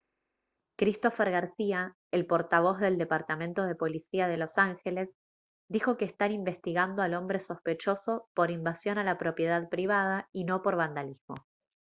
christopher garcía el portavoz del departamento de policía de los ángeles dijo que están investigando al hombre sospechoso por invasión a la propiedad privada y no por vandalismo